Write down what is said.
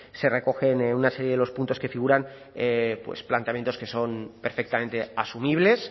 se recoge una serie de los puntos que figuran planteamientos que son perfectamente asumibles